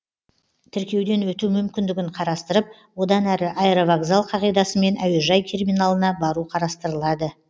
тіркеуден өту мүмкіндігін қарастырып одан әрі аэровокзал қағидасымен әуежай терминалына бару қарастырылады